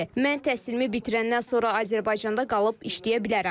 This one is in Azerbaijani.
Mən təhsilimi bitirəndən sonra Azərbaycanda qalıb işləyə bilərəm.